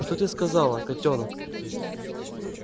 что ты сказала котёнок